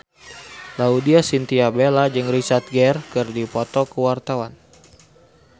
Laudya Chintya Bella jeung Richard Gere keur dipoto ku wartawan